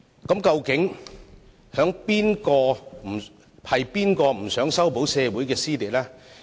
那麼，究竟是誰不想修補社會撕裂？